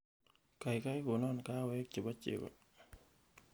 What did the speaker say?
kaigai konon kahawek chebo chego